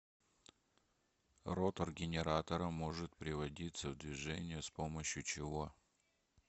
ротор генератора может приводиться в движение с помощью чего